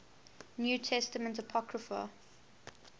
new testament apocrypha